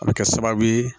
A bɛ kɛ sababu ye